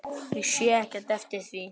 Ég sé ekki eftir því.